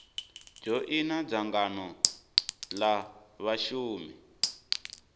dzhoina dzangano l a vhashumi